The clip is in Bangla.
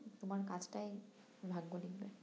তোমার কাজটাই ভাগ্য লিখবে